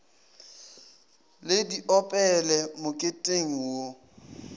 le di opele moketeng wo